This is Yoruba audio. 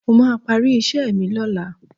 Mo máa parí iṣẹ́ mi lọ́la